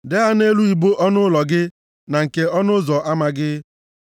Dee ha nʼelu ibo ọnụ ụlọ gị na nke ọnụ ụzọ ama gị.